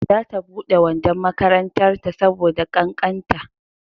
za ta bude wandon makarantar ta saboda kakkanta